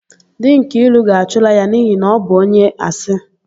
Di Nkiru ga-achụla ya n'ihi na ọ bụ onye asị.